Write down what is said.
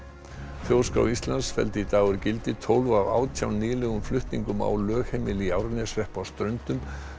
þjóðskrá Íslands felldi í dag úr gildi tólf af átján nýlegum flutningum á lögheimili í Árneshrepp á Ströndum